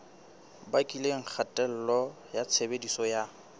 bakileng kgatello ya tshebediso ya